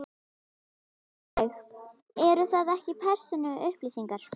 Sólveig: Eru það ekki persónuupplýsingar?